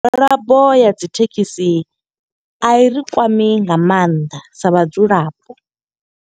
Migwalabo ya dzi thekhisi, a i ri kwami nga maanḓa sa vhadzulapo.